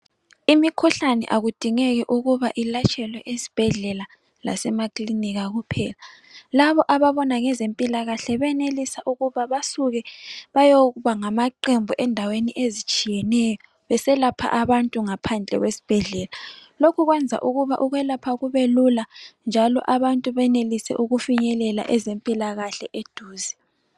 Imikhuhlane akudingeki ukuba ilatshelwe esibhedlela lasemakilinika kuphela .Labo ababona ngezempilakahle beyenelisa ukuba basuke bayokuba ngamaqembu endaweni ezitshiyeneyo beselapha abantu ngaphandle kwesibhedlela Lokhu kwenza ukuba ukwelapha kube lula njalo abantu benelise ukufinyelela ezempilakahle eduze.